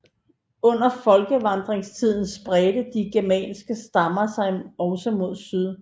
Under folkevandringstiden spredte de germanske stammer sig også mod syd